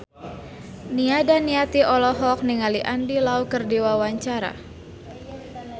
Nia Daniati olohok ningali Andy Lau keur diwawancara